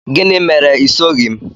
Gịnị mere i soghị m?